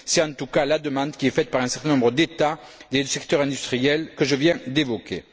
C'est en tout cas la demande qui est faite par un certain nombre d'États et de secteurs industriels que je viens d'évoquer.